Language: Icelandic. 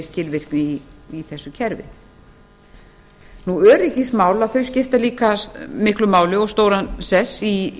skilvirkni í þessu kerfi öryggismál skipta líka miklu máli og stóran sess í